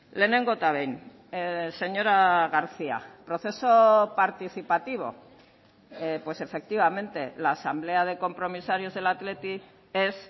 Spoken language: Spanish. lehenengo eta behin señora garcía proceso participativo pues efectivamente la asamblea de compromisarios del athletic es